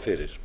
fyrir